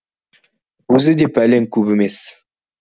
өзі де пәлен көп емес